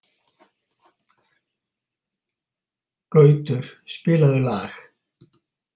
Gautur, spilaðu lag.